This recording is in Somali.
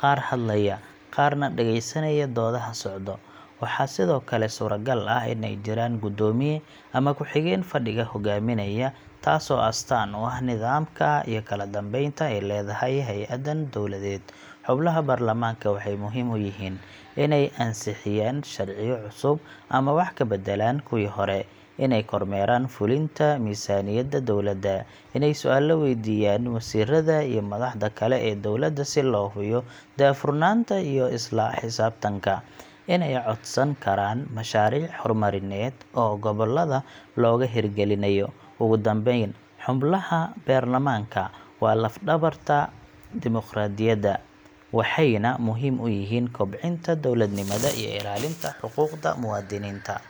qaar hadlaya, qaarna dhageysanaya doodaha socda. Waxaa sidoo kale suuragal ah in ay jiraan gudoomiye ama ku xigeen fadhiga hogaaminaya, taasoo astaan u ah nidaamka iyo kala dambeynta ay leedahay hay’addan dowladeed. Xubnaha baarlamaanka waxay muhiim u yihiin: Inay ansixiyaan sharciyo cusub ama wax ka beddelaan kuwii hore. Inay kormeeraan fulinta miisaaniyadda dowladda. Inay su’aalo weydiiyaan wasiirada iyo madaxda kale ee dowladda si loo hubiyo daahfurnaanta iyo isla xisaabtanka. Inay codsan karaan mashaariic horumarineed oo gobolladooda looga hirgelinayo. Ugu dambeyn, xubnaha baarlamaanka waa laf-dhabarta dimoqraadiyadda, waxayna muhiim u yihiin kobcinta dowladnimada iyo ilaalinta xuquuqda muwaadiniinta.